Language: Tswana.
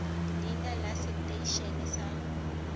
leina la setei ene sa